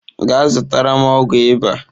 Gaa zụtara m ọgwụ ịba.